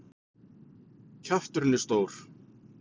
Kjafturinn er stór.